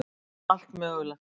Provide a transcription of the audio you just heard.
Við allt mögulegt.